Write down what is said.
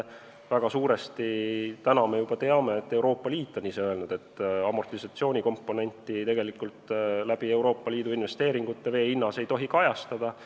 Praegu me juba teame, et Euroopa Liit on ise öelnud: amortisatsioonikomponenti ei tohi Euroopa Liidu investeeringute puhul vee hinnas kajastada.